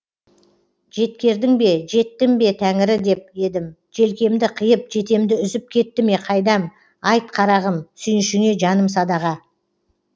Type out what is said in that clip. жеткердің бе жеттім бе тәңірі деп едім желкемді қиып жетемді үзіп кетті ме қайдам айт қарағым сүйіншіңе жаным садаға